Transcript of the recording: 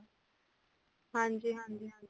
ਹਾਂਜੀ ਹਾਂਜੀ ਹਾਂਜੀ